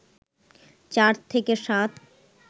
চার থেকে সাত